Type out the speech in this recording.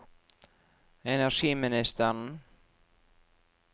energiministeren